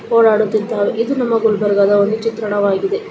ಓಡಾಡುತ್ತಿದ್ದಾವೆ ಇದು ನಮ್ಮ ಗುಲ್ಬರ್ಗಾದ ಒಂದು ಚಿತ್ರಣವಾಗಿದೆ .